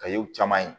Ka ye u caman ye